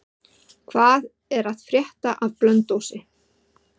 Hvað er að frétta af Blönduósi?